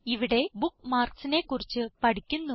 ഇവിടെ Bookmarksനെ കുറിച്ച് പഠിക്കുന്നു